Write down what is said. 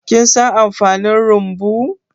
Kin san amfanin rumbu?